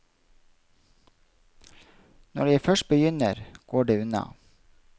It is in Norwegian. Når jeg først begynner, går det unna.